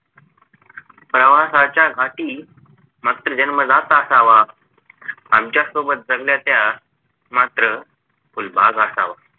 प्रवासाच्या घाटी मात्र जन्मजात असावा आमच्या सोबत जगलाच्या मात्र फुलबाग असावा